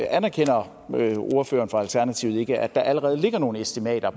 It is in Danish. anerkender ordføreren fra alternativet ikke at der allerede ligger nogle estimater